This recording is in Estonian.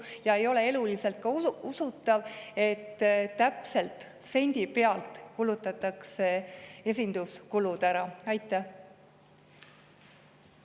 Samuti ei ole eluliselt usutav, et täpselt sendi pealt kulutatakse esinduskuludeks ära.